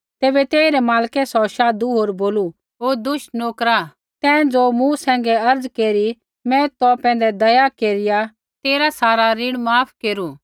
तैबै तेइरै मालकै सौ शाधु होर बोलू ओ दुष्ट नोकरा तैं ज़ो मूँ सैंघै अर्ज़ केरी मैं तौ पैंधै दया केरिया तेरा सारा ऋण माफ केरू